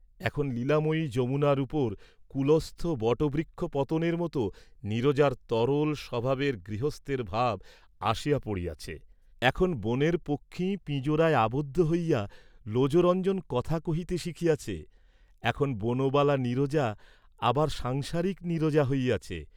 এখন লীলাময়ী যমুনার উপর, কুলস্থ বটবৃক্ষ পতনের মত নীরজার তরল স্বভাবে গৃহস্থের ভাব আসিয়া পড়িয়াছে; এখন বনের পক্ষী পিঁজরায় আবদ্ধ হইয়া লোজরঞ্জন কথা কহিতে শিখিয়াছে; এখন বনবালা নীরজা আবার সাংসারিক নীরজা হইয়াছে।